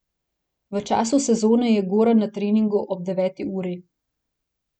V času sezone je Goran na treningu ob deveti uri.